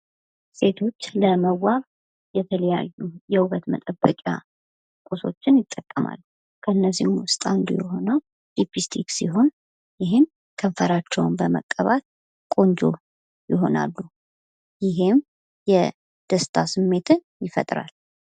ሴቶች ለመዋብ የተለዩ የውበት መጠበቂያ ቁሶችን ይጠቀማሉ። ከነዚህም ውስጥ አንዱ የሆነው ሊፒስቲክ ሲሆን፤ ይህም ከንፈራቸውን በመቀባት ቆንጆ ይሆናሉ። ይህም የ ደስታ ስሜትን ይፈጥራል።